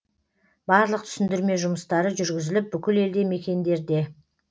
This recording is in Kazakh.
барлық түсіндірме жұмыстары жүргізіліп бүкіл елді мекендерде